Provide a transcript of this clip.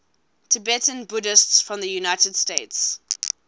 tibetan buddhists from the united states